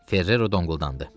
Ferrero donquldandı.